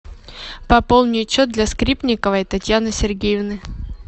пополнить счет для скрипниковой татьяны сергеевны